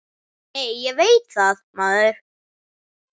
Nei, ég veit það, maður!